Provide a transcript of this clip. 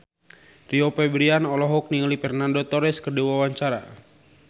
Rio Febrian olohok ningali Fernando Torres keur diwawancara